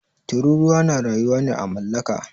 Tururuwa na rayuwa ne à mallaka.